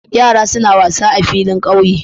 Yara suna wasa a filin ƙauye.